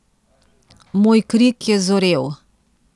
Moj krik je zorel.